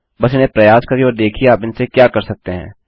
बस इन्हें प्रयास करिए और देखिये आप इनसे क्या कर सकते हैं